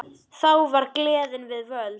Þá var gleðin við völd.